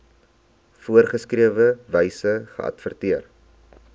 voorgeskrewe wyse geadverteer